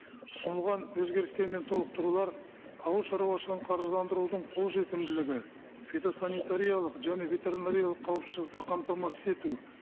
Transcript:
ұсынылған өзгерістер мен толықтырулар ауылшаруашылығын қаржыландырудың қолжетімділігі фитосанитариялық және ветеринариялық қауіпсіздікті қамтамасыз ету